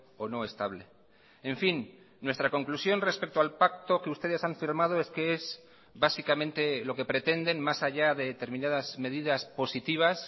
o no estable en fin nuestra conclusión respecto al pacto que ustedes han firmado es que es básicamente lo que pretenden más allá de determinadas medidas positivas